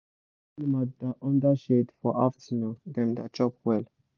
when animal da under shade for afternoon dem da chop well